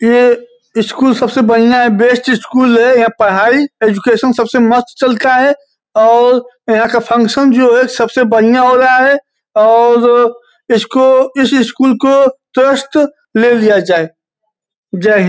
यह स्कूल सबसे बढ़िया है बेस्ट स्कूल है। यहाँ पढ़ाई एजुकेशन सबसे मस्त चलता है और यहाँ का फंक्शन जो है सबसे बढ़िया हो रहा है और इसको इस स्कूल को ट्रस्ट ले लिया जाये। जय हिंद।